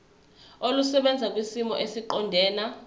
olusebenza kwisimo esiqondena